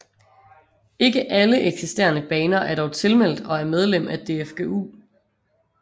Ikke alle eksisterende baner er dog tilmeldt og er medlem af DFGU